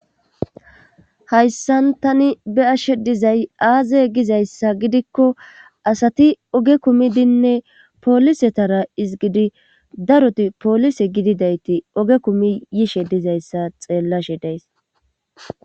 hayssan tani be ashe dizay aaze gizayssa gidikko asati oge kumidinne poolisetara izgidi daroti poolise gididayti oge kumi yishe dizayssa xeellashe days